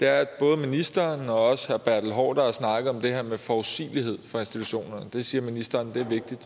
er at både ministeren og også herre bertel haarder har snakket om det her med forudsigelighed for institutionerne det siger ministeren er vigtigt